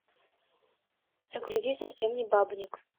загрузи совсем не бабник